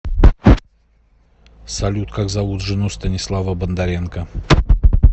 салют как зовут жену станислава бондаренко